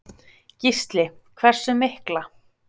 Gísli: Hversu mikla?